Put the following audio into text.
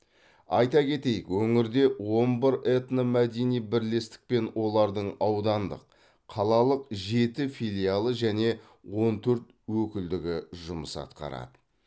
айта кетейік өңірде он бір этномәдени бірлестік пен олардың аудандық қалалық жеті филиалы және он төрт өкілдігі жұмыс атқарады